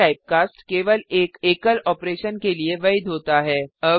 यह टाइपकास्ट केवल एक एकल ऑपरेशन के लिए वैध होता है